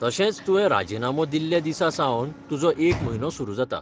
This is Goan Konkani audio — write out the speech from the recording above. तशेंच तुवें राजिनामो दिल्ल्या दिसासावन तुजो एक म्हयनो सुरू जाता.